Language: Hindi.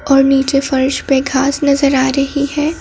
और नीचे फर्श पे घास नजर आ रही है।